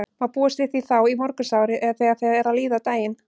Má búast við því þá í morgunsárið eða þegar fer að líða á daginn?